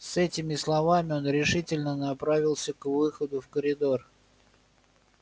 с этими словами он решительно направился к выходу в коридор